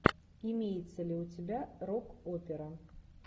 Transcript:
имеется ли у тебя рок опера